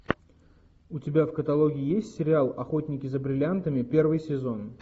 у тебя в каталоге есть сериал охотники за бриллиантами первый сезон